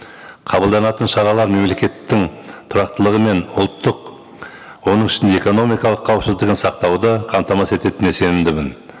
қабылданатын шаралар мемлекеттің тұрақтылығы мен ұлттық оның ішінде экономикалық қауіпсіздігін сақтауды қамтамасыз ететіне сенімдімін